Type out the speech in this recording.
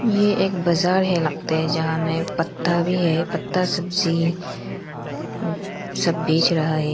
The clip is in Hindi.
ये एक बाजार है लगता है जहां में पत्ता भी है पत्ता सब्जी सब बेच रहा है।